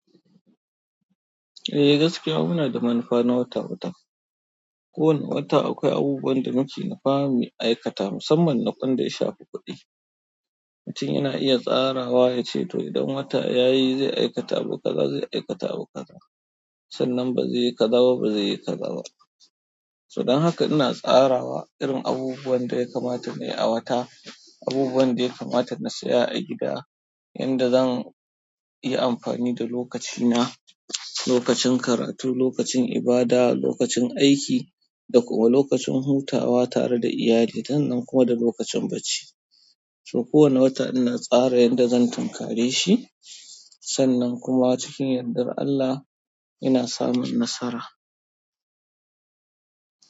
Eh gaskiya muna da manufa na wata-wata. Ko wanu wata akwai abubuwan da muke nufawa mu aikata musamman na ƙwan da ya shafi kuɗi. Mutum yana iya tsarawa yace to idan wata yayi zai aikata abu kaza, zai aikata abu kaza. Sannan ba zai yi ka zaɓa ba zai yi ka zaɓa. So dan haka ina tsarawa irin abubuwan da ya kamata nayi a wata, abubuwan da ya kamata na siya a gida, yanda zan yi amfani da lokaci na, lokacin karatu, lokacin ibada, lokacin aiki da kuma lokacin hutawa tare da iyali, sannan kuma da lokacin bacci. So kowane wata ina tsara yanda zan tunkare shi, sannan kuma cikin yardan Allah ina samun nasara.